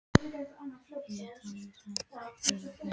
Ég hafði samt ekki trúað þeim.